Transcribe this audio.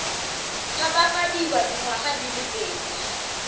tshabafadiwa dingwaga di le pedi